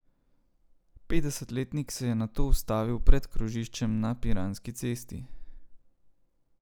Petdesetletnik se je nato ustavil pred krožiščem na Piranski cesti.